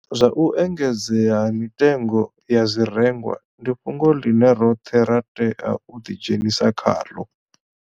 Zwa u engedzea ha mitengo ya zwirengwa ndi fhungo ḽine roṱhe ra tea u ḓidzhenisa khaḽo.